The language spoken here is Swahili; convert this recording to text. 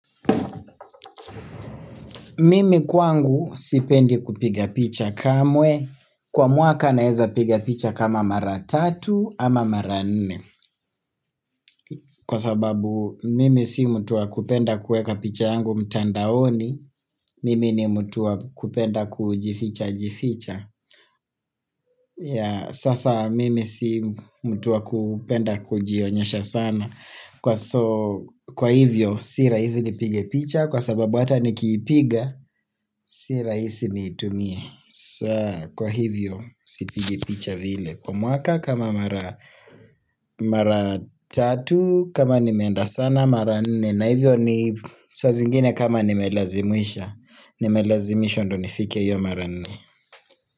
Mimi kwangu sipendi kupiga picha kamwe kwa mwaka naeza piga picha kama mara tatu ama mara nne kwa sababu mimi si mtu wa kupenda kuweka picha yangu mtandaoni Mimi ni mutua kupenda kujificha jificha ya sasa mimi si mtu wa kupenda kujionyesha sana kwa so kwa hivyo si rahisi nipige picha kwa sababu hata nikipiga si rahisi nitumie kwa hivyo sipigi picha vile kwa mwaka kama mara Mara tatu kama nimeenda sana mara nne na hivyo ni saa zingine kama nimelazimisha Nimelazimisha ndiyo nifike hiyo mara nne.